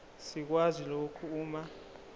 sikwazi lokhu uma